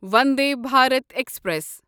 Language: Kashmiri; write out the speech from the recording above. وندے بھارت ایکسپریس